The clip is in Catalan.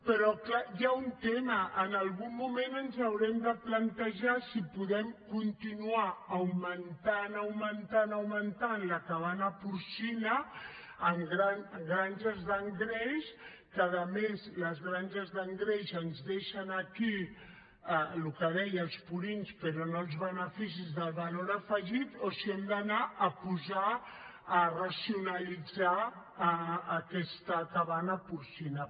però clar hi ha un tema en algun moment ens haurem de plantejar si podem continuar augmentant augmentant augmentant la cabana porcina en granges d’engreix que a més les granges d’engreix ens deixen aquí el que deia els purins però no els beneficis del valor afegit o si hem d’anar a racionalitzar aquesta cabana porcina